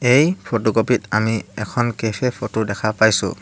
এই photo copy ত আমি এখন কেফে ফটো দেখা পাইছোঁ।